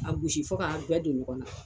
A gosi fo k'a bɛɛ don ɲɔgɔn na